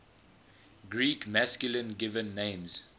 greek masculine given names